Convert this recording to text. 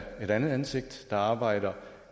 andet ansigt der arbejdede